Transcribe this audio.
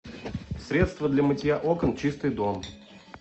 средство для мытья окон чистый дом